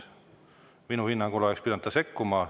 Minu hinnangul oleks ta pidanud sekkuma.